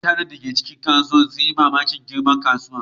Mutanen da ke cikin kasuwar sun yi mamakin girman kasuwar.